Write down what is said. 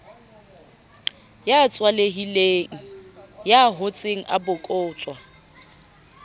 ya tswalehileng ya hotseng abokotswa